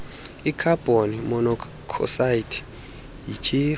ikhabhoni monokhsayidi yityhefu